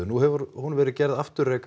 nú hefur hún verið gerð afturræk